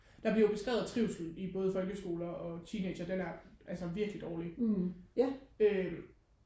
der bliver jo beskrevet trivsel i både folkeskoler og teenagere den er altså sådan virkelig dårlig øhm